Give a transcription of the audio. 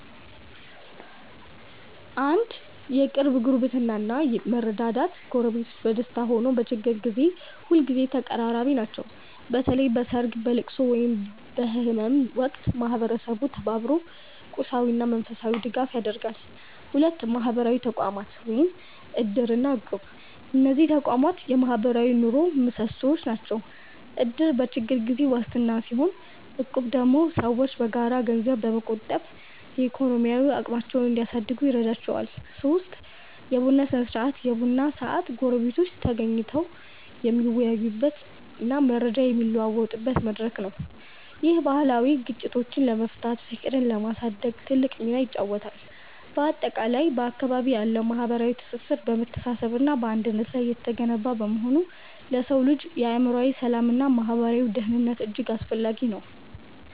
1. የቅርብ ጉርብትና እና መረዳዳት ጎረቤቶች በደስታም ሆነ በችግር ጊዜ ሁልጊዜ ተቀራራቢ ናቸው። በተለይ በሰርግ፣ በልቅሶ ወይም በህመም ወቅት ማህበረሰቡ ተባብሮ ቁሳዊና መንፈሳዊ ድጋፍ ያደርጋል። 2. ማህበራዊ ተቋማት (እድር እና እቁብ) እነዚህ ተቋማት የማህበራዊ ኑሮው ምሰሶዎች ናቸው። እድር በችግር ጊዜ ዋስትና ሲሆን፣ እቁብ ደግሞ ሰዎች በጋራ ገንዘብ በመቆጠብ የኢኮኖሚ አቅማቸውን እንዲያሳድጉ ይረዳቸዋል። 3. የቡና ስነ-ስርዓት የቡና ሰዓት ጎረቤቶች ተገናኝተው የሚወያዩበትና መረጃ የሚለዋወጡበት መድረክ ነው። ይህ ባህል ግጭቶችን ለመፍታትና ፍቅርን ለማሳደግ ትልቅ ሚና ይጫወታል። ባጠቃላይ፣ በአካባቢዎ ያለው ማህበራዊ ትስስር በመተሳሰብና በአንድነት ላይ የተገነባ በመሆኑ ለሰው ልጅ የአእምሮ ሰላምና ማህበራዊ ደህንነት እጅግ አስፈላጊ ነው።